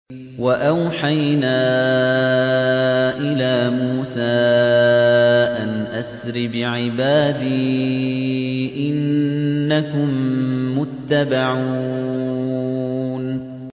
۞ وَأَوْحَيْنَا إِلَىٰ مُوسَىٰ أَنْ أَسْرِ بِعِبَادِي إِنَّكُم مُّتَّبَعُونَ